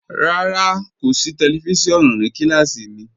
Rárá, kò sí tẹlifísiọ̀nù ní kílásí mí.